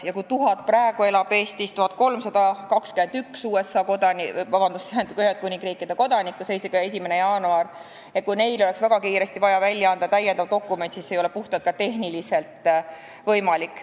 Praegu, 1. jaanuari seisuga, elab Eestis 1321 Ühendkuningriigi kodanikku ja kui neile oleks väga kiiresti vaja anda uus dokument, siis ei ole see juba tehniliselt võimalik.